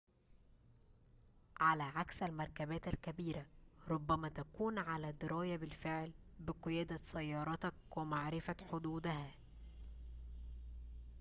على عكس المركبات الكبيرة ربما تكون على درايةٍ بالفعل بقيادة سيارتك ومعرفة حدودها